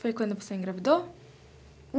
Foi quando você engravidou?